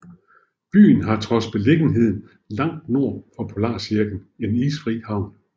Byen har trods beliggenheden langt nord for polarcirklen en isfri havn